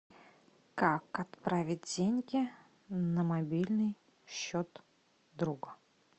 как отправить деньги на мобильный счет друга